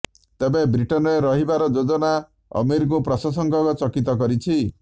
ତେବେ ବ୍ରିଟେନରେ ରହିବାର ଯୋଜନା ଆମୀରଙ୍କୁ ପ୍ରଶଂସକଙ୍କୁ ଚକିତ କରିଛି